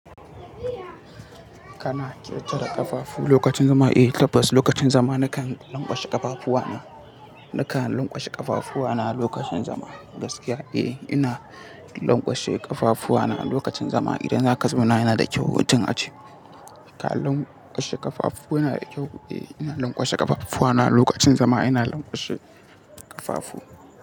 Kana ƙetara ƙafafu lokacin zama? Eh tabbas lokacin zama nakan lanƙwashe ƙafafuwa na. Nakan lanƙwashe ƙafafuwa na lokacin zama gaskiya. Eh ina lanƙwashe ƙafafuwa na lokacin zama idan zaka zauna yanada kyau mutum ace Ka lanƙwashe ƙafafu na da kyau. Eh ina lanƙwashe ƙafafuwa na a lokacin zama ina lanƙwashe ƙafafu.